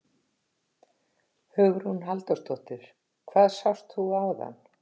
Hugrún Halldórsdóttir: Hvað sást þú áðan?